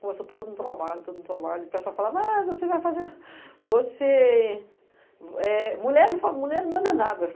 Começou todo um trabalho, todo um trabalho, e o pessoal falava, ah, você vai fazer... você... Mulher não manda nada.